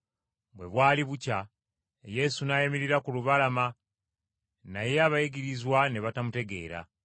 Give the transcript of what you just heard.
Bwe bwali bukya, Yesu n’ayimirira ku lubalama, naye abayigirizwa ne batamutegeera.